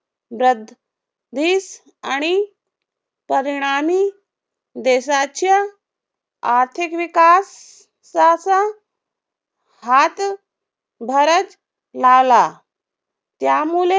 व्रद्धीस आणि परिणामी देशाच्या आर्थिक विकास साचा हात भारच लावला. त्यामुले